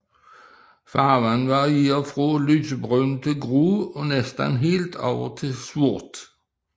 Farven varierer fra lysebrun til grå og næsten helt over til sort